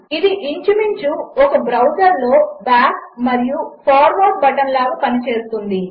ఇదిఇంచుమించుఒకబ్రౌజర్లోబ్యాక్మరియుఫార్వర్డ్బటన్లాగాపనిచేస్తుంది